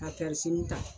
Ka ta